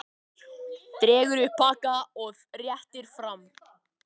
Dregur upp pakka og réttir fram.